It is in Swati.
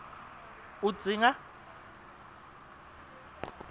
udzinga